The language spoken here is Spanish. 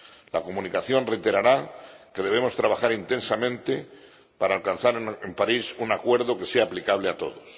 La Comunicación reiterará que debemos trabajar intensamente para alcanzar en París un acuerdo que sea aplicable a todos.